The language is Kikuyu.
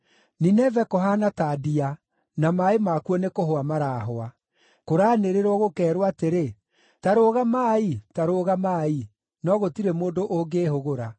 Nineve kũhaana ta ndia, na maaĩ makuo nĩkũhwa marahwa. Kũraanĩrĩrwo, gũkeerwo atĩrĩ, “Ta rũgamai! Ta rũgamai!” No gũtirĩ mũndũ ũngĩĩhũgũra.